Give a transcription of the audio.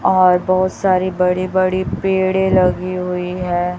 और बहोत सारी बड़े बड़े पेड़े लगी हुई है।